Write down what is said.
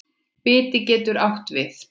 Biti getur átt við